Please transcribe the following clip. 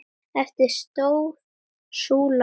Eftir stóð súlan ein.